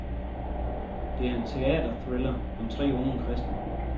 Det er en teaterthriller om tre unge kristne.